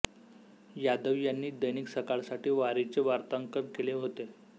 यादव यांनी दैनिक सकाळसाठी वारीचे वार्तांकन केले होते